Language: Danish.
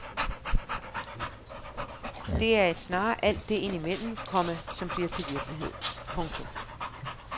Det er snarere alt det ind imellem, komma som bliver til virkelighed. punktum